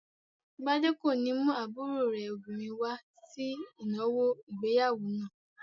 Gbadé kò ní mú àbúrò rẹ̀ obìnrin wá sí ìnáwó ìgbéyàwó náà.